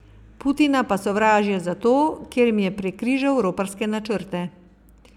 Putina pa sovražijo zato, ker jim je prekrižal roparske načrte.